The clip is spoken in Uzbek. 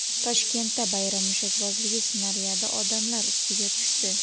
Toshkentda bayram mushakbozligi snaryadi odamlar ustiga tushdi.